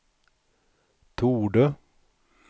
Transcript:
torde